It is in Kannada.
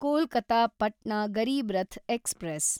ಕೊಲ್ಕತ ಪಟ್ನಾ ಗರೀಬ್ ರಥ್ ಎಕ್ಸ್‌ಪ್ರೆಸ್